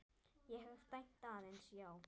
Ég hef dæmt aðeins já.